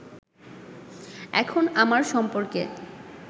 এখন আমার সম্পর্কে